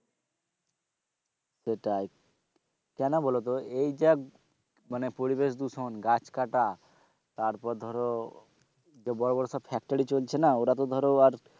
সেটাই কেন বলতো এই যা পরিবেশ দূষণ গাছকাটা তারপর ধরো বড়ো সব factory চলছে না ওরা তো ধরো আর,